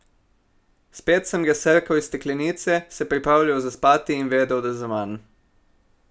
Spet sem ga srkal iz steklenice, se pripravljal zaspati in vedel, da zaman.